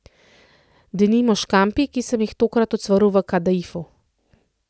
Denimo, škampi, ki sem jih tokrat ocvrl v kadaifu.